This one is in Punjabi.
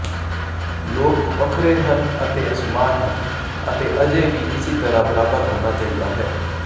ਲੋਕ ਵੱਖਰੇ ਹਨ ਅਤੇ ਅਸਮਾਨ ਹਨ ਅਤੇ ਅਜੇ ਵੀ ਕਿਸੇ ਤਰ੍ਹਾਂ ਬਰਾਬਰ ਹੋਣਾ ਚਾਹੀਦਾ ਹੈ